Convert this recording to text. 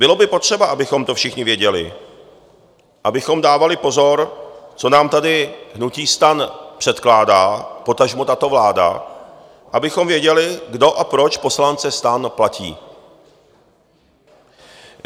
Bylo by potřeba, abychom to všichni věděli, abychom dávali pozor, co nám tady hnutí STAN předkládá, potažmo tato vláda, abychom věděli, kdo a proč poslance STAN platí.